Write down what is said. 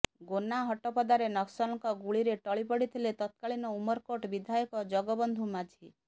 gonna ହାଟପଦାରେ ନକ୍ସଲଙ୍କ ଗୁଳିରେ ଟଳି ପଡ଼ିଥିଲେ ତତ୍କାଳୀନ ଉମରକୋଟ ବିଧାୟକ ଜଗବନ୍ଧୁ ମାଝୀ